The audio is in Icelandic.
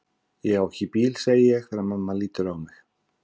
Ég er ekki á bíl, segi ég þegar mamma lítur á mig.